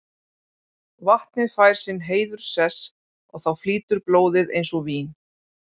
Vatnið fær sinn heiðurssess og þá flýtur blóðið eins og vín.